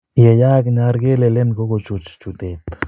Yee yaak , nyar kelelen kokochuch chutet.